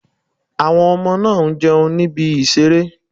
Àwọn ọmọ náà ń jẹun ní ibi ìseré